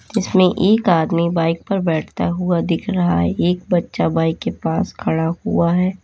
जिसमें एक आदमी बाइक पर बैठता हुआ दिख रहा है एक बच्चा बाइक के पास खड़ा हुआ है।